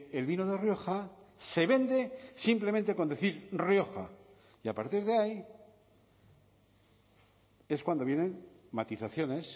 el vino de rioja se vende simplemente con decir rioja y a partir de ahí es cuando vienen matizaciones